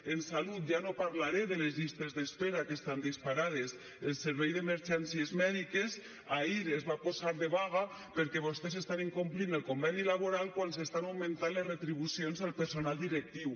en salut ja no parlaré de les llistes d’espera que estan disparades el servei d’emergències mèdiques ahir es va posar de vaga perquè vostès estan incomplint el conveni laboral quan s’estan augmentant les retribucions al personal directiu